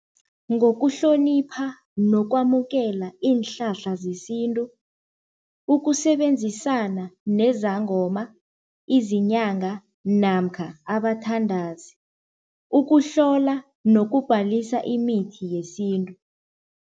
Ngokuhlonipha nokwamukela iinhlahla zesintu, ukusebenzisana nezangoma izinyanga namkha abathandazi, ukuhlola nokubhalisa imithi yesintu.